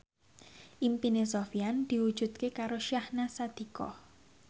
impine Sofyan diwujudke karo Syahnaz Sadiqah